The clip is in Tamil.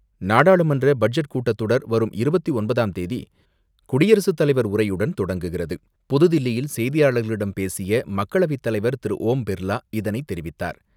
நாடாளுமன்ற பட்ஜெட் கூட்டத் தொடர் வரும் இருபத்தி ஒன்பதாம் தேதி குடியரசுத் தலைவர் உரையுடன் தொடங்குகிறது. புதுதில்லியில் செய்தியாளர்களிடம் பேசிய மக்களவைத் தலைவர் திரு ஓம் பிர்லா இதனை தெரிவித்தார்.